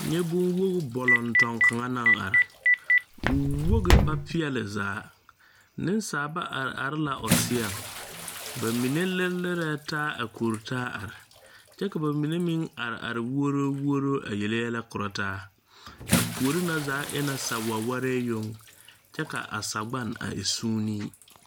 Nyɛ bonwoge bɔlɔnŋtɔmm kaŋa naŋ are o woge ba peɛɛle zaa neŋsalba are are la o seɔŋ ba mine yɛ lirelirɛɛ taa a koritaa are kyɛ ka ba mine meŋ are are wuoro wuoro a yɛlɛ korɔ taa a puore na e la sawɛwɛree yoŋ kyɛ ka a sagbane a e sūūnee.